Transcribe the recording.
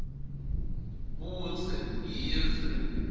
budze yindze